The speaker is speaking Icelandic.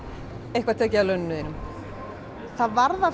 eitthvað tekið af laununum þínum það var það